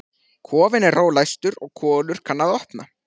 Kofinn er ólæstur og Kolur kann að opna.